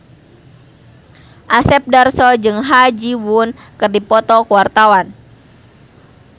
Asep Darso jeung Ha Ji Won keur dipoto ku wartawan